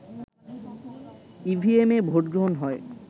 ইভিএমে ভোটগ্রহণ হয়